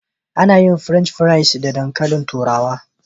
Ana yin French fries da dankalin turawa.